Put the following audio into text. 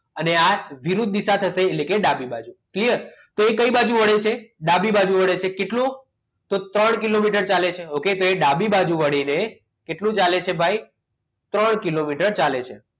અને આવ વિરુદ્ધ દિશા થશે એટલે કે ડાબી બાજુ clear તો એ કઈ થશે ડાબી બાજુ વળે છે તો કેટલું તો કે ત્રણ કિલોમીટર ચાલે છે okay તો એ જ ડાબી બાજુ વળીને કેટલું ચાલે છે ભાઈ ત્રણ કિલોમીટર ચાલે છે